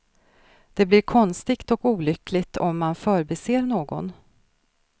Det blir konstigt och olyckligt om man förbiser någon.